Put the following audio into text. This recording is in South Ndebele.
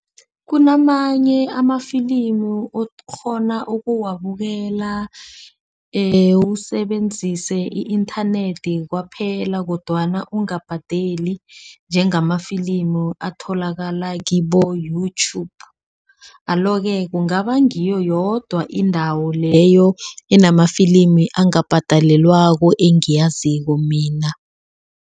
Kunamanye amafilimu okghona ukuwabukela usebenzise i-inthanethi kwaphela kodwana ungabhadela njengama filimu atholakala kibo-Youtube. Alo-ke kungaba ngiyo yodwa indawo leyo enamafilimu angabhadalelwako engiyaziko mina.